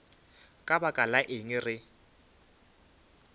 ka baka la eng re